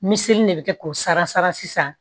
Miseli de bɛ kɛ k'o sara sisan